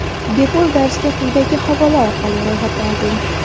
Bepul darsga quyidagi havola orqali ro‘yxatdan o‘ting!